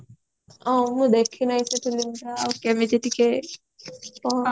ଓ ମୁଁ ଦେଖିନାହିଁ ସେ filmy ଟା ଆଉ କେମିତି ଟିକେ କହ